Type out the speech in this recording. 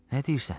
Nə deyirsən?